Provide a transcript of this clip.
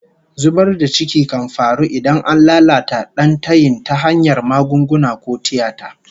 Zubar da ciki kan faru idan an lalata dan tayin ta hanyar magunguna ko tiyata